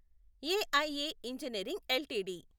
AIA engineering LTD